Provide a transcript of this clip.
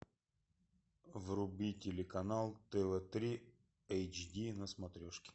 вруби телеканал тв три эйч ди на смотрешке